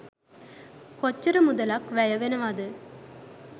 කොච්චර මුදලක් වැය වෙනවද?